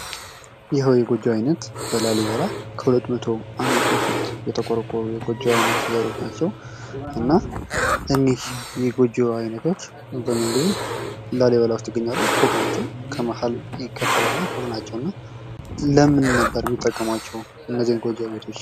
ይህ የጎጆ አይነት በላሊበላ ከሁለት መቶ አመት በፊት የተቆረቆሩ የጎጆ አይነት ዘሮች ናቸው። እና እኒህ የጎጆ አይነቶች አብዛኛውን ጊዜ ላሊበላ ዉስጥ ያሉ ናቸው። ፎቅ ናቸው። ከመሀል ይከፈላል እና ፎቅ ናቸው። እና ለምን ነበር የሚጠቀሟቸው እነዚህን የጎቾ ቤቶች?